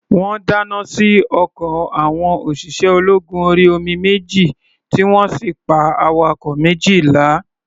Wọ́n dáná sí ọkọ̀ àwọn òṣìṣẹ́-ológun-orí-omi méjì, tí wọ́n sì pa awakọ̀ méjìlá.